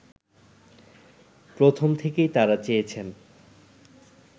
প্রথম থেকেই তারা চেয়েছেন